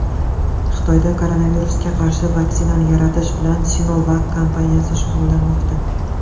Xitoyda koronavirusga qarshi vaksinani yaratish bilan SinoVac kompaniyasi shug‘ullanmoqda.